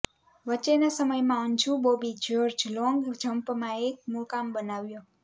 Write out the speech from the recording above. વચ્ચેના સમયમાં અંજુ બોબી જયોર્જ લોન્ગ જમ્પમાં એક મુકામ બનાવ્યો